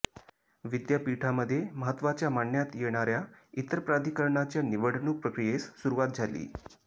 विद्यापीठामध्ये महत्त्वाच्या मानण्यात येणाऱ्या इतर प्राधिकरणाच्या निवडणूक प्रक्रियेस सुरवात झाली